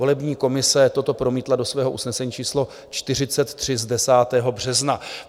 Volební komise toto promítla do svého usnesení číslo 43 z 10. března.